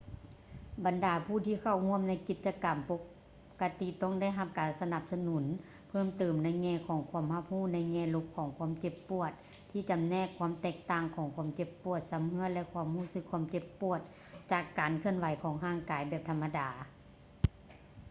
ບັນດາຜູ້ທີ່ເຂົ້າຮ່ວມໃນກິດຈະກຳປົກກະຕິ ຕ້ອງໄດ້ຮັບການສະໜັບສະໜູນເພີ່ມຕື່ມໃນແງ່ຂອງຄວາມຮັບຮູ້ໃນແງ່ລົບຂອງຄວາມເຈັບປວດ ທີ່ຈຳແນກຄວາມແຕກຕ່າງຂອງຄວາມເຈັບປວດຊຳເຮຶ້ອ ແລະ ຄວາມຮູ້ສຶກເຈັບປວດຈາກການເຄື່ອນໄຫວທາງຮ່າງກາຍແບບທຳມະດາ